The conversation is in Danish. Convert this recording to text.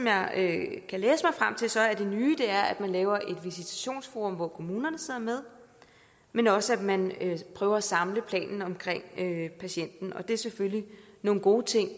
er at det nye er at man laver et visitationsforum hvor kommunerne sidder med men også at man prøver at samle planen omkring patienten og det er selvfølgelig nogle gode ting